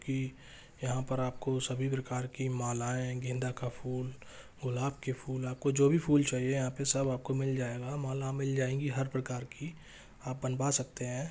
की यहाँ पर आपको सभी प्रकार की मालाएं गेंदा का फूल गुलाब के फूल आप को जो भी फूल चाहिए यहाँ पे सब आपको मिल जाएगा माला मिल जाएगी हर प्रकार की आप बनवा सकते है।